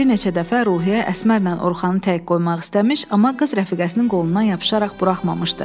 Bir neçə dəfə Ruhiyyə Əsmərnan Orxanı təhrik qoymaq istəmiş, amma qız rəfiqəsinin qolundan yapışaraq buraxmamışdı.